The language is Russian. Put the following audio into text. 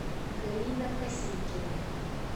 галина косикина